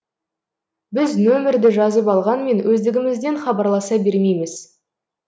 біз нөмірді жазып алғанмен өздігімізден хабарласа бермейміз